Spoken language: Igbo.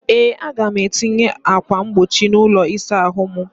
Ee, Aga m etinye ákwà mkpuchi n'ụlọ ịsa ahụ m.